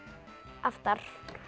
aftar